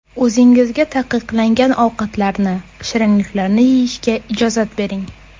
O‘zingizga taqiqlangan ovqatlarni, shirinliklarni yeyishga ijozat bering.